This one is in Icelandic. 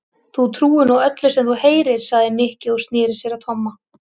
Þú trúir nú öllu sem þú heyrir sagði Nikki og snéri sér að Tomma.